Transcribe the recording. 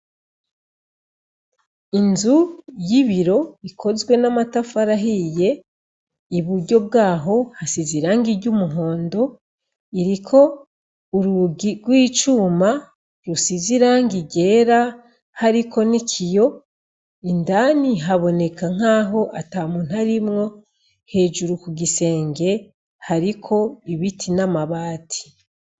Inzu y'ibiro ikozwe n'amatafari ahiye, i buryo bwaho hasizwe irangi ry'umuhondo, iriko urugi rw'icuma rusize irangi ryera hariko n'ikiyo. Indani haboneka nk'aho ata muntu arimwo. Hejuru ku gisenge, hariko ibiti n'amabati.